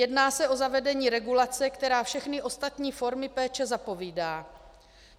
Jedná se o zavedení regulace, která všechny ostatní formy péče zapovídá.